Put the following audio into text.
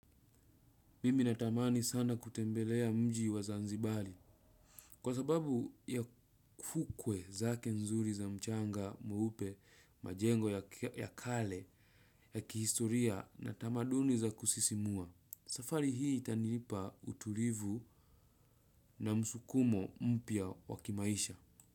Mimi natamani sana kutembelea mji wa zanzibari. Kwa sababu ya fukwe zake nzuri za mchanga mweupe majengo ya kale ya kihistoria na tamaduni za kusisimua. Safari hii itanilipa utulivu na msukumo mpya wakimaisha.